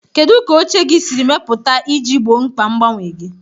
Kedu ka oche gị siri mepụta iji gboo mkpa mgbanwe gị?